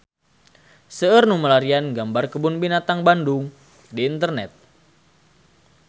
Seueur nu milarian gambar Kebun Binatang Bandung di internet